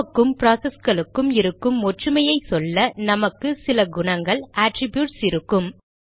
நமக்கும் ப்ராசஸ்களுக்கும் இருக்கும் ஒற்றுமையை சொல்ல நமக்கு சில குணங்கள் அட்ரிப்யூட்ஸ் இருக்கும்